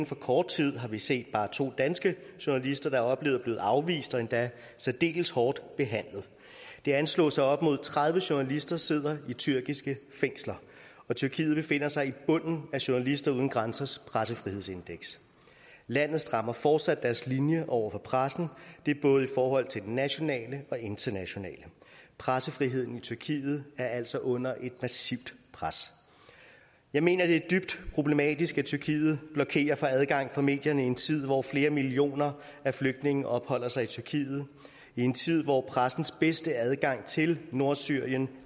for kort tid har vi set bare to danske journalister der være blevet afvist og endda særdeles hårdt behandlet det anslås at op imod tredive journalister sidder i tyrkiske fængsler og tyrkiet befinder sig i bunden af journalister uden grænsers pressefrihedsindeks landet strammer fortsat sin linje over for pressen og det er både i forhold til den nationale og internationale pressefriheden i tyrkiet er altså under et massivt pres jeg mener det er dybt problematisk at tyrkiet blokerer for adgang for medierne i en tid hvor flere millioner flygtninge opholder sig i tyrkiet en tid hvor pressens bedste adgang til nordsyrien